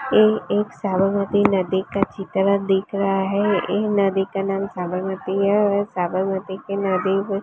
ये एक साबरमती नदी का चित्र दिख रहा है ये नदी का नाम साबरमती है साबरमती की नदी--